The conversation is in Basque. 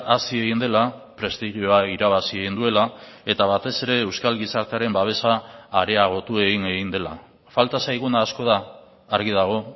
hazi egin dela prestigioa irabazi egin duela eta batez ere euskal gizartearen babesa areagotu egin egin dela falta zaiguna asko da argi dago